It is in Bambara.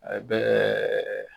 A bɛ